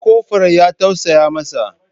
Ko kofur ya tausaya masa?